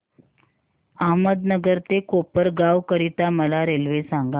अहमदनगर ते कोपरगाव करीता मला रेल्वे सांगा